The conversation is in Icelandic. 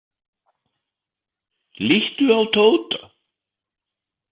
Líttu á Tóta.